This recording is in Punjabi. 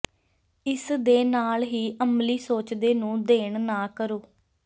ਇਸ ਦੇ ਨਾਲ ਹੀ ਅਮਲੀ ਸੋਚਦੇ ਨੂੰ ਦੇਣ ਨਾ ਕਰੋ